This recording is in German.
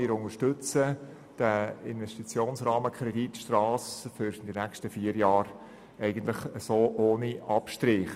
Wir unterstützen den Investitionsrahmenkredit Strasse für die nächsten vier Jahre ohne Abstriche.